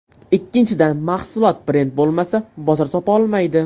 Ikkinchidan, mahsulot brend bo‘lmasa, bozor topa olmaydi.